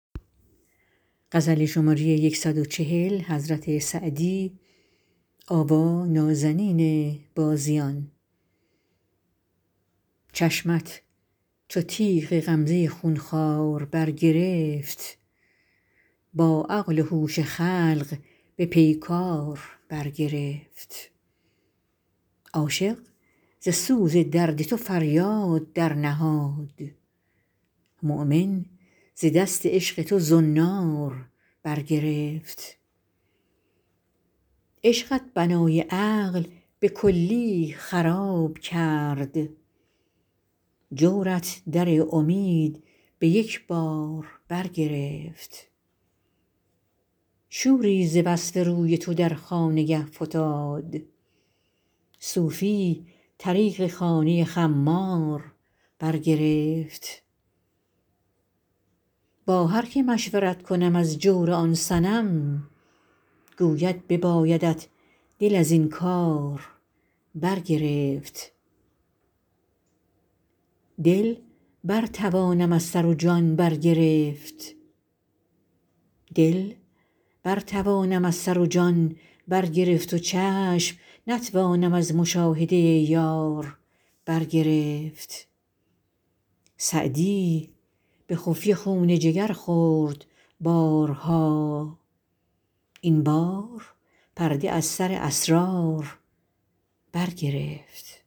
چشمت چو تیغ غمزه خون خوار برگرفت با عقل و هوش خلق به پیکار برگرفت عاشق ز سوز درد تو فریاد درنهاد مؤمن ز دست عشق تو زنار برگرفت عشقت بنای عقل به کلی خراب کرد جورت در امید به یک بار برگرفت شوری ز وصف روی تو در خانگه فتاد صوفی طریق خانه خمار برگرفت با هر که مشورت کنم از جور آن صنم گوید ببایدت دل از این کار برگرفت دل برتوانم از سر و جان برگرفت و چشم نتوانم از مشاهده یار برگرفت سعدی به خفیه خون جگر خورد بارها این بار پرده از سر اسرار برگرفت